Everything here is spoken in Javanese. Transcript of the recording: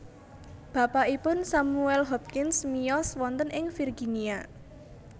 Bapakipun Samuel Hopkins miyos wonten ing Virginia